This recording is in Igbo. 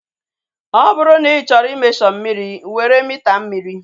Ọ bụrụ na ị chọrọ i mesho mmiri, were mita mmiri